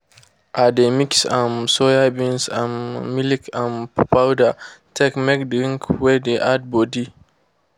they dey mix um soyabeans and milk um powder take make drinks wey de add body.